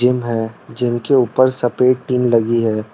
Gym है जिनके ऊपर सफेद टिन लगी है।